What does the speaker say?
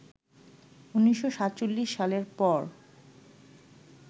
১৯৪৭ সালের পর